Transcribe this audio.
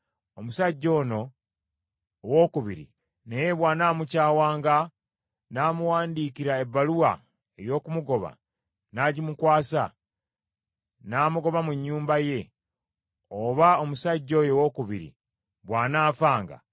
Omusajja ono owookubiri naye bw’anaamukyawanga n’amuwandiikira ebbaluwa ey’okumugoba, n’agimukwasa, n’amugoba mu nnyumba ye, oba omusajja oyo owookubiri bw’anaafanga;